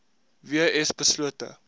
w s beslote